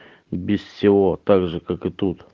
без всего также как и тут